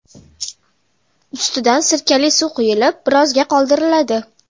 Ustidan sirkali suv quyilib, birozga qoldiriladi.